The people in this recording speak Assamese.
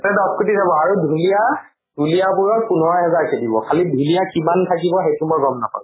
দ্শ কোটি যাব আৰু ঢুলীয়া? ঢুলীয়া বোৰৰ পোন্ধৰ হেজাৰ কে দিব। খালি ঢুলীয়া কিমান থাকিব সেইটো মই গম নাপাওঁ।